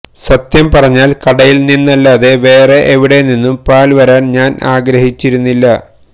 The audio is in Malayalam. സത്യം പറഞ്ഞാല് കടയില് നിന്നല്ലാതെ വേറെ എവിടെനിന്നും പാല് വരാന് ഞാന് ആഗ്രഹിച്ചിരുന്നില്ല